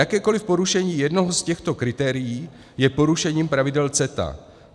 "Jakékoliv porušení jednoho z těchto kritérií je porušením pravidel CETA.